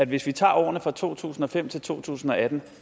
hvis vi tager årene fra to tusind og fem til to tusind og atten